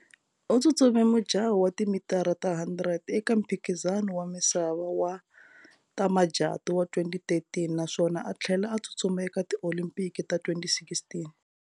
U tsutsume mujaho wa timitara ta 100 eka Mphikizano wa misava wa tamajatu wa 2013 naswona a thlela a tsutsuma eka ti-Olimpiki ta 2016.